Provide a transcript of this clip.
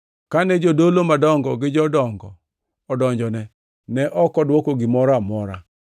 Kane jodolo madongo gi jodongo odonjone, ne ok odwoko gimoro amora.